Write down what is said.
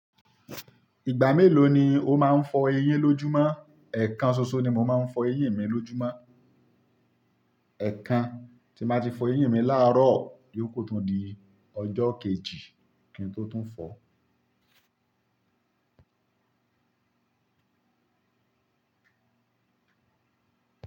Ìgbà mélòó ni o máa ń fọ eyín lójúmọ́? Ẹ̀ẹ̀kan ṣoṣo ni mo máa ń fọ eyín mi lójúmọ́. Ẹ̀ẹ̀kan. Tí ń bá ti fọ eyín mi láàárọ̀ ìyókù tún di ọjọ́ kejì kí n tó tún fọ.